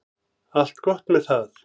Allt gott með það.